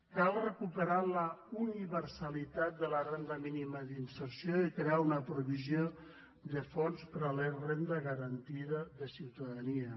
cal recuperar la universalitat de la renda mínima d’inserció i crear una provisió de fons per a la renda garantida de ciutadania